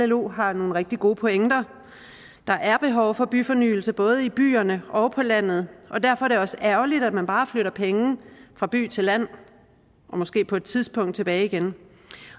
llo har nogle rigtig gode pointer der er behov for byfornyelse både i byerne og på landet og derfor er det også ærgerligt at man bare flytter penge fra by til land og måske på et tidspunkt tilbage igen